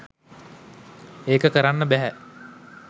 ඒක කරන්න බැහැ.